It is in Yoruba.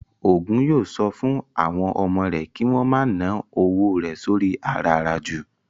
Ògún yóò sọ fún àwọn ọmọ rẹ̀ kí wón ma ná owó rẹ̀ sóri i àràràjù